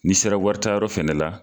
Ni'i sera wari taa yɔrɔ fɛnɛ la.